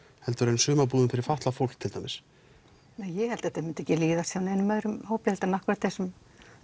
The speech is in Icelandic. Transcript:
heldur en sumarbúðum fyrir fatlað fólk til dæmis nei ég held að þetta myndi ekki líðast hjá neinum öðrum hópi heldur en akkurat þessum